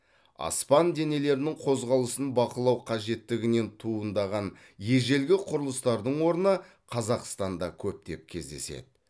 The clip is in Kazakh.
аспан денелерінің қозғалысын бақылау қажеттігінен туындаған ежелгі құрылыстардың орны қазақстанда көптеп кездеседі